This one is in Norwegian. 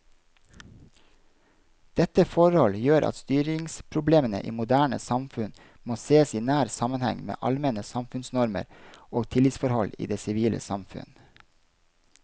Dette forhold gjør at styringsproblemene i moderne samfunn må sees i nær sammenheng med allmenne samfunnsnormer og tillitsforhold i det sivile samfunn.